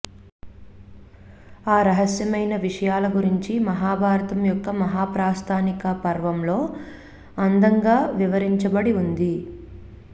ఆ రహస్యమైన విషయాల గురించి మహాభారతం యొక్క మహాప్రస్థానికా పర్వంలో అందంగా వివరించబడి వుంది